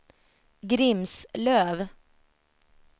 Grimslöv